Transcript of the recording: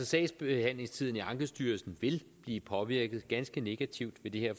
sagsbehandlingstiden i ankestyrelsen vil blive påvirket ganske negativt ved det her